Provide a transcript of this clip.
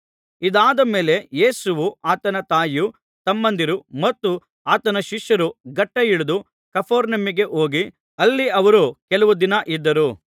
ಇದಾದ ಮೇಲೆ ಯೇಸುವೂ ಆತನ ತಾಯಿಯೂ ತಮ್ಮಂದಿರೂ ಮತ್ತು ಆತನ ಶಿಷ್ಯರೂ ಘಟ್ಟಾ ಇಳಿದು ಕಪೆರ್ನೌಮಿಗೆ ಹೋಗಿ ಅಲ್ಲಿ ಅವರು ಕೆಲವು ದಿನ ಇದ್ದರು